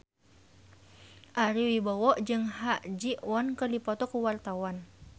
Ari Wibowo jeung Ha Ji Won keur dipoto ku wartawan